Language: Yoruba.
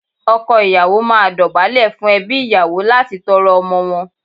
Ọkọ ìyàwó máa dọ̀bálẹ̀ fún ẹbí ìyàwó láti tọrọ ọmọ wọn.